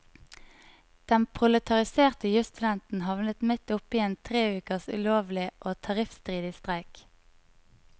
Den proletariserte jusstudenten havnet midt opp i en tre ukers ulovlig og tariffstridig streik.